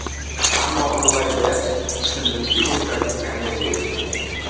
Ammo ulg‘aygach, tushundimki bu tragikomediya ekan.